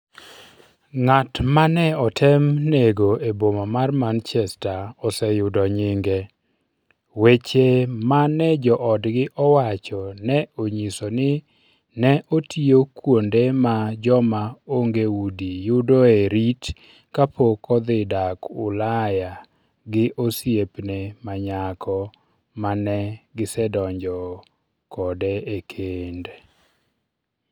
Ng'at ma ne otem nego e boma mar Manchester oseyudo nyinge Weche ma ne joodgi owacho ne onyiso ni ne otiyo kuonde ma joma onge udi yudoe rit kapok odhi dak Ulaya gi osiepne ma nyako ma ne gisedonjo kode e kend.